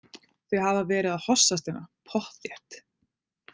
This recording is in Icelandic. Þau hafa verið að hossast hérna, pottþétt.